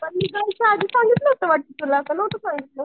मी जायच्या आधी सांगितलं होतं वाटतं तुला ला नव्हतं सांगितलं?